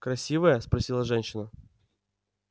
красивая спросила женщина